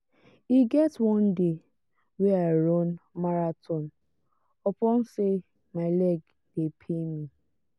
e get one day wey i run marathon upon sey my leg dey pain me.